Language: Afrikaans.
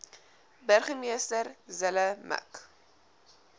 burgemeester zille mik